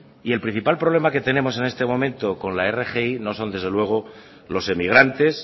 y el principal problema que tenemos en este momento con la rgi no son desde luego los emigrantes